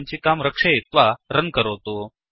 सञ्चिकां रक्षयित्वा रन् करोतु